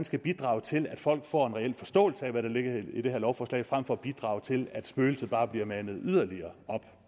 skal bidrage til at folk får en reel forståelse af hvad der ligger i det her lovforslag frem for at bidrage til at spøgelset bare bliver manet yderligere